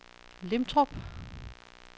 Lintrup